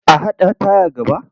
A haɗa tayar gaban?